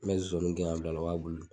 N bɛ zɔzaniw gɛn ka bila a la o b'a bulu dun.